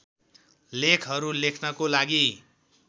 लेखहरू लेख्नको लागी